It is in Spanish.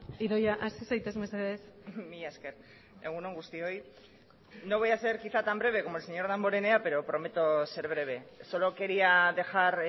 idoia hasi zaitez mesedez mila esker egun on guztioi no voy a ser quizá tan breve como el señor damborenea pero prometo ser breve solo quería dejar